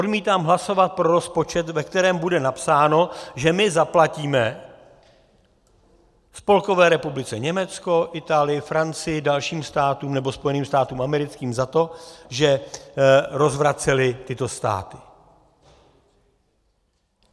Odmítám hlasovat pro rozpočet, ve kterém bude napsáno, že my zaplatíme Spolkové republice Německo, Itálii, Francii, dalším státům, nebo Spojeným státům americkým za to, že rozvracely tyto státy.